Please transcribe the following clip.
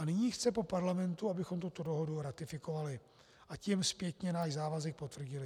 A nyní chce po Parlamentu, abychom tuto dohodu ratifikovali, a tím zpětně náš závazek potvrdili.